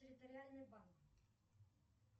территориальный банк